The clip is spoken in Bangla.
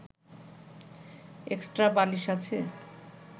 এক্সট্রা বালিশ আছে